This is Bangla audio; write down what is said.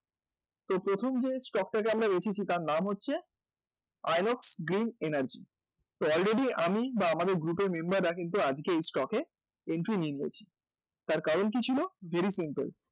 তো প্রথম যে stock টাকে আমরা রেখেছি তার নাম হচ্ছে আয়ঙ্কস গ্রিন এনার্জি তো already আমি বা আমাদের group এর member রা কিন্তু আজকে এই stock এ তার কারণ কী ছিল? very simple